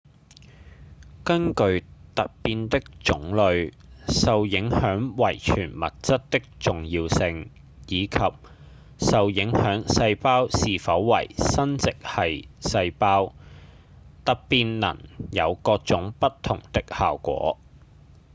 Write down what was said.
根據突變的種類、受影響遺傳物質的重要性、以及受影響細胞是否為生殖系細胞突變能有各種不同的效果